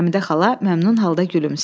Həmidə xala məmnun halda gülümsəyir.